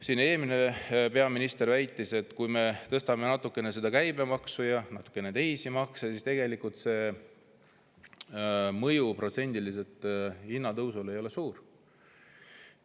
Siin eelmine peaminister väitis, et kui me tõstame natukene käibemaksu ja natukene teisi makse, siis see mõju hinnatõusule ei ole tegelikult protsendiliselt suur.